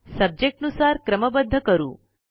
subject नुसार क्रमबद्ध करू